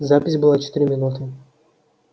запись была четыре минуты